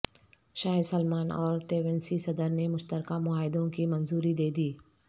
شاہ Salman اور تیونسی صدر نے مشترکہ معاہدوں کی منظوری دے دی